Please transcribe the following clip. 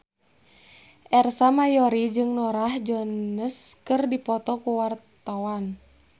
Ersa Mayori jeung Norah Jones keur dipoto ku wartawan